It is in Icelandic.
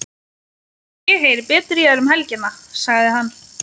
Ég heyri betur í þér um helgina, sagði hann.